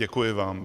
Děkuji vám.